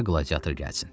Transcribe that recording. Başqa qladiator gəlsin.